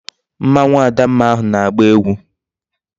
Mmanwu Adamma ahu na-agba egwu